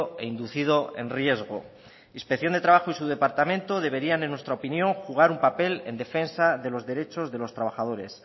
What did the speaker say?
e inducido en riesgo inspección de trabajo y su departamento deberían en nuestra opinión jugar un papel en defensa de los derechos de los trabajadores